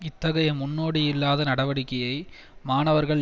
இத்தகைய முன்னோடியில்லாத நடவடிக்கையை மாணவர்கள்